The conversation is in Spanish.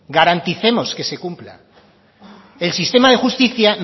garanticemos que se cumpla el sistema de justicia